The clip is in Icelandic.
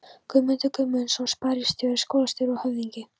Guðmundur Guðmundsson sparisjóðsstjóri, skólastjóri og höfðingi